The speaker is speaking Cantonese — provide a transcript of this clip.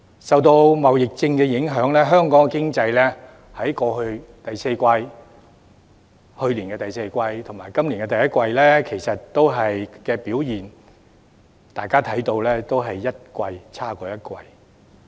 受到貿易戰的影響，大家都看到，香港的經濟在去年第四季及今年第一季的表現，都是一季比一季差。